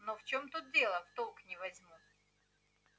но в чем тут дело в толк не возьму